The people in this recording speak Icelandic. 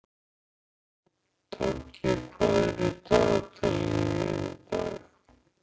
Toggi, hvað er í dagatalinu mínu í dag?